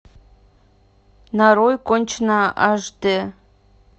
нарой конченая аш дэ